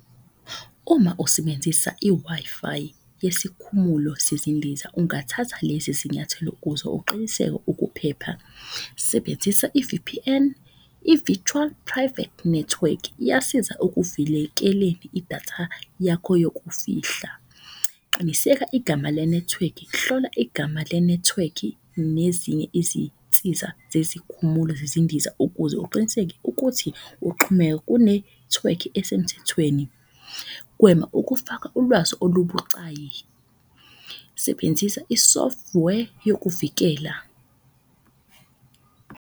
Uma usebenzisa i-Wi-Fi yesikhumulo sezindiza, ungathatha lezi zinyathelo ukuze uqiniseke ukuphepha. Sebenzisa i-V_P_N i-Virtual Private Network, iyasiza idatha yakho yokufihla. Qiniseka igama lenethiwekhi, hlola igama lenethiwekhi nezinye izinsiza zezikhumulo zezindiza. Ukuze uqiniseke ukuthi kunethiwekhi esemthethweni. Gwema ukufaka ulwazi olubucayi, sebenzisa i-software yokuvikela.